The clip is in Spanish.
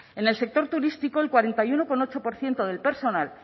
en el sector turístico el cuarenta y uno coma ocho por ciento del personal